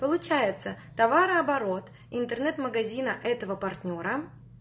получается товарооборот интернет-магазина этого партнёра